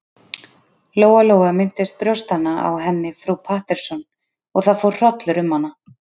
Lóa-Lóa minntist brjóstanna á henni frú Pettersson og það fór hrollur um hana.